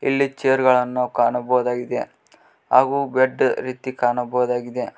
ಇಲ್ಲಿ ಚೇರ್ ಗಳನ್ನು ಕಾಣಬಹುದಾಗಿದೆ ಹಾಗು ಬೆಡ್ ರೀತಿ ಕಾಣಬಹುದಾಗಿದೆ.